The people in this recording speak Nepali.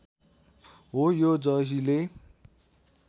हो यो जहिले